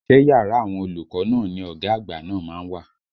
Ṣé yàrá àwọn olùkọ́ náà ni ọ̀gá àgbà náà má ń wà?